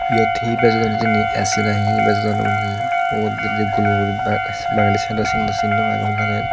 yot hee bejodon hijeni A_C na hee bejodon won hee ubot bidire gul gul guri ba bangendi sydot sindo sin no pang gomedale.